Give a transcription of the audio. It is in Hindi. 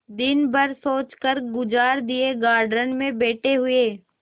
दिन भर सोचकर गुजार दिएगार्डन में बैठे हुए